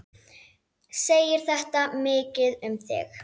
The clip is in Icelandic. Segir þetta mikið um þig.